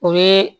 O ye